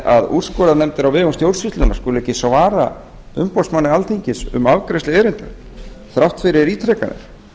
að úrskurðarnefndir á vegum stjórnsýslunnar skuli ekki svara umboðsmanni alþingis um afgreiðslu erinda þrátt fyrir